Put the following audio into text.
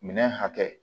Minɛn hakɛ